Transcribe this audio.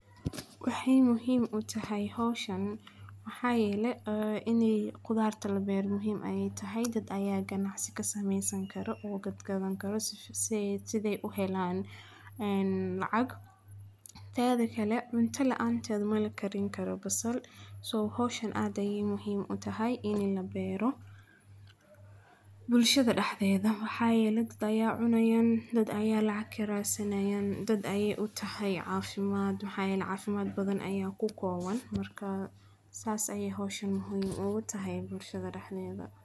Wixii muhiim u tahay hawshan, waxaa yeelay inay gudaar tala beer muhiim ay tahay. Dad ayaa ganacsi ka samaysan karo oo gadgadan karo si siday u helaan in lacag teedde kale binta la'aan taad maal karin karo abasal. Soow hawshan aad ah yihiin muhiim u tahay inay la beero. Bulshada dhexdeeda, waxaa yeelay dad ayaa cunayan, dad ayaa lacag kirasanyan, dad ayay u tahay caafimaad? Waxaay caafimaad badan ayaa ku kooban markaa saas ayay hawshan muhiim u tahay bulshada dhexdeeda.